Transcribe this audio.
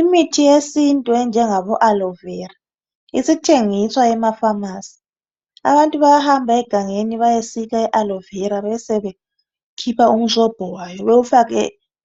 imithi yesintu enjengabo aloe vera isithengiswa ema phamarcy abantu bayahamba egangeni bayesika i aloe vera besebekhipha umsobho wayo bewufake